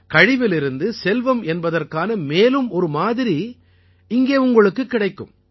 கழிவிலிருந்து செல்வம் என்பதற்கான மேலும் ஒரு மாதிரி இங்கே உங்களுக்குக் கிடைக்கும்